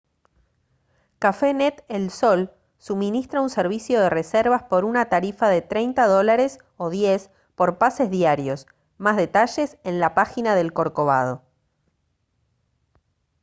cafenet el sol suministra un servicio de reservas por una tarifa de us$ 30 o $10 por pases diarios; más detalles en la página del corcovado